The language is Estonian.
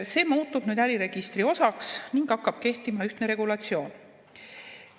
See muutub äriregistri osaks ning hakkab kehtima ühtne regulatsioon.